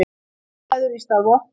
Viðræður í stað vopna